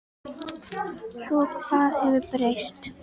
Svo hvað hefur breyst?